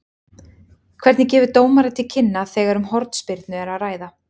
Hvernig gefur dómari til kynna þegar um hornspyrnu er að ræða?